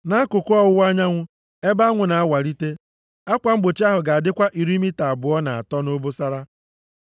Nʼakụkụ ọwụwa anyanwụ, ebe anwụ na-awalite, akwa mgbochi ahụ ga-adịkwa iri mita abụọ na atọ nʼobosara.